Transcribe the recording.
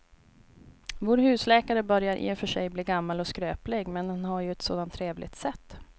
Vår husläkare börjar i och för sig bli gammal och skröplig, men han har ju ett sådant trevligt sätt!